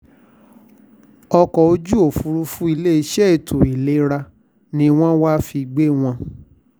ọkọ̀ ojú òfúfúrú iléeṣẹ́ ètò ìlera ni wọ́n wàá fi gbé wọn